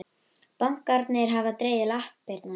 Bankarnir hafa dregið lappirnar